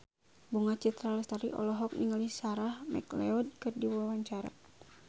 Bunga Citra Lestari olohok ningali Sarah McLeod keur diwawancara